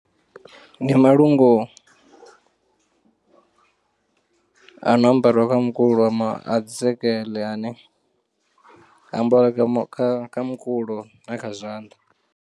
Ndi malungu a no ambariwa kha mukulo ama a dzi sekeḽe ane a ambara kha mukulo na kha zwanḓa.